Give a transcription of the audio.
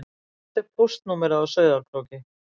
Hvert er póstnúmerið á Sauðárkróki?